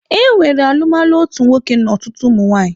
E nwere alụmalụ otu nwoke na ọtụtụ ụmụnwaanyị.